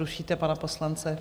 Rušíte pana poslance.